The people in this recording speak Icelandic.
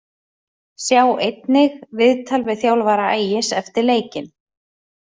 Sjá einnig: Viðtal við þjálfara Ægis eftir leikinn